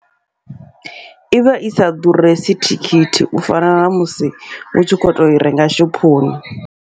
Ivha isa ḓuresi thikhithi, u fana namusi u tshi kho toi renga shophoni.